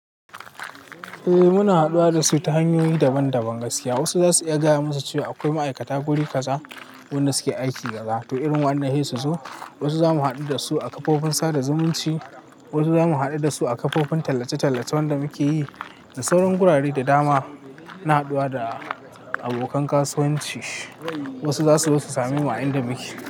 Eh muna haduwa da su ta hanyoyi daban-daban gaskiya. Wasu za su iya gaya musu cewa akwai ma'aikata guri kaza wanda suke aiki gaza to irin wainan sai su zo. Wasu zamu haɗu da su a kafofin sada zumunci. Wasu zamu haɗu da su a kafofin tallace-tallace wanda muke yi. Da sauran wurare da dama na haduwa da abokan kasuwanci. Wasu za su zo su samai mu a inda muke.